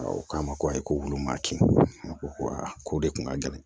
U k'a ma ko ayi ko olu maa kɛ ko aa ko de kun ka gɛlɛn